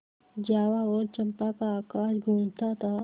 जावा और चंपा का आकाश गँूजता था